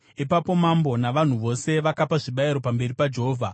Ipapo mambo navanhu vose vakapa zvibayiro pamberi paJehovha.